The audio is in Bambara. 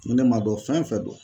Ne m'a dɔn fɛn o fɛn don.